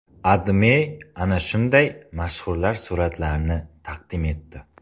AdMe ana shunday mashhurlar suratlarini taqdim etdi .